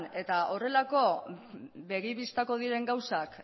eta horrelako begi bistako diren gauzak